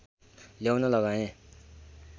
ल्याउन लगाएँ